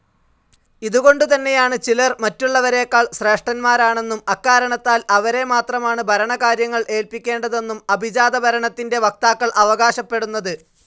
ഇതുകൊണ്ടുതന്നെയാണ് ചിലർ മറ്റുള്ളവരെക്കാൾ ശ്രേഷ്ഠന്മാരാണെന്നും അക്കാരണത്താൽ അവരെ മാത്രമാണ് ഭരണകാര്യങ്ങൾ ഏല്പിക്കേണ്ടതെന്നും അഭിജാത ഭരണത്തിൻ്റെ വക്താക്കൾ അവകാശപ്പെടുന്നത്.